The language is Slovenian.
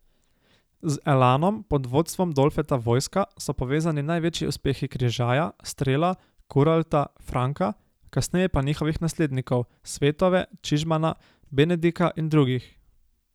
Z Elanom pod vodstvom Dolfeta Vojska so povezani največji uspehi Križaja, Strela, Kuralta, Franka, kasneje pa njihovih naslednikov, Svetove, Čižmana, Benedika in drugih.